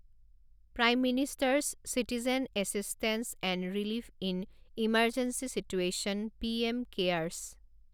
prime minister's citizen assistance and relief in emergency situation PM CARES